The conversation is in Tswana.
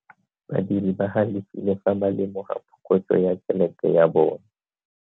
Badiri ba galefile fa ba lemoga phokotso ya tšhelete ya bone.